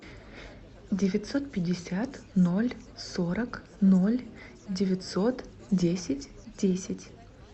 девятьсот пятьдесят ноль сорок ноль девятьсот десять десять